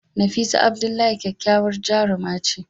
Nafisa Abdullahi kyakkyawar jaruma ce.